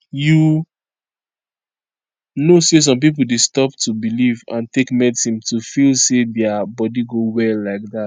you know say some pipo dey stop to belief and take medicine to feel say dia body go well like dat